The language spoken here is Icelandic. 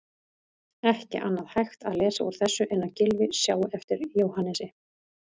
Ekki annað hægt að lesa úr þessu en að Gylfi sjái eftir Jóhannesi.